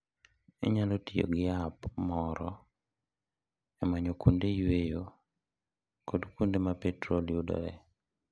Inyalo tiyo gi app moro e manyo kuonde yueyo kod kuonde ma petrol yudoree.